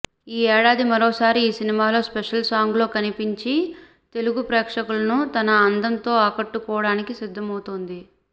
ఈ ఏడాది మరోసారి ఓ సినిమాలో స్పెషల్ సాంగ్ లో కనిపించి తెలుగు ప్రేక్షకులను తన అందంతో ఆకట్టుకోవడానికి సిద్దమవుతోంది